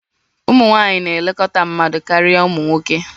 Ụmụ nwanyị na-elekọta mmadụ karịa ụmụ nwoke